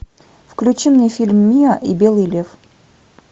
включи мне фильм миа и белый лев